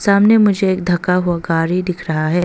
सामने मुझे एक ढका हुआ गाड़ी दिख रहा है।